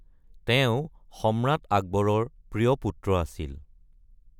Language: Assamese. তেওঁ সম্ৰাট আকবৰৰ প্ৰিয় পুত্ৰ আছিল।